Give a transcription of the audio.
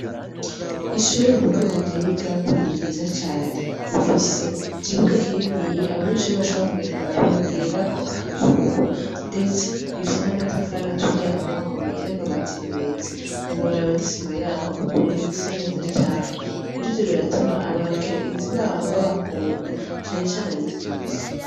Ishure mukuru wanje yigako ni ryiza cane. Rifise ikibuga kininiya abanyeshure bashobora kugenda kuhagirirako akaruhuko. Ndetse, rifise n'amatafari aturiye akomakomeye, n'amabati meza. Ntiworaba n'isima yaho ukuntu isa neza cane. Rero ivyo biratuma abagenzi baho babakunda, cane cane abigisha.